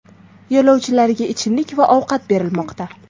Yo‘lovchilarga ichimliklar va ovqat berilmoqda .